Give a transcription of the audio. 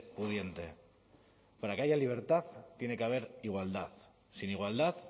pudiente para que haya libertad tiene que haber igualdad sin igualdad